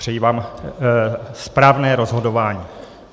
Přeji vám správné rozhodování.